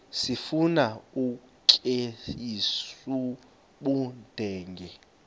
sifuna ukweyis ubudenge